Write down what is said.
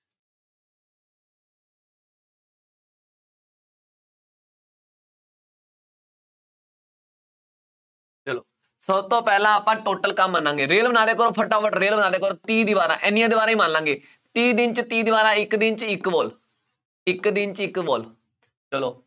ਚਲੋ ਸਭ ਤੋਂ ਪਹਿਲਾਂ ਆਪਾਂ total ਕੰਮ ਮੰਨਾਗੇ ਰੇਲ ਬਣਾ ਦਿਆ ਕਰੋ ਫਟਾਫਟ ਰੇਲ ਬਣਾ ਦਿਆ ਕਰੋ ਤੀਹ ਦੀਵਾਰਾਂ ਇੰਨੀਆਂ ਦੀਵਾਰਾਂ ਹੀ ਮੰਨ ਲਵਾਂਗੇ, ਤੀਹ ਦਿਨ 'ਚ ਤੀਹ ਦੀਵਾਰਾਂ ਇੱਕ ਦਿਨ 'ਚ ਇੱਕ wall ਇੱਕ ਦਿਨ 'ਚ ਇੱਕ wall ਚਲੋ